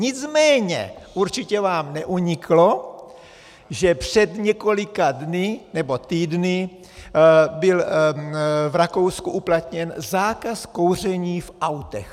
Nicméně určitě vám neuniklo, že před několika dny nebo týdny byl v Rakousku uplatněn zákaz kouření v autech.